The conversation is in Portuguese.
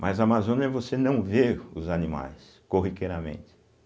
Mas a Amazônia você não vê os animais, corriqueiramente.